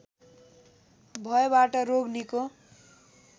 भएबाट रोग निको